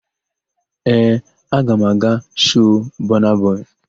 Ee, aga m aga shoo Bọna bọị.